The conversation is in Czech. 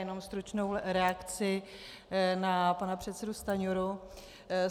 Jenom stručnou reakci na pana předsedu Stanjuru.